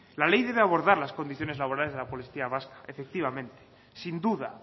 la ley debe abordar las condiciones laborales de la policía vasca efectivamente sin duda